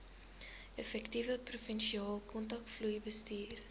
effektiewe provinsiale kontantvloeibestuur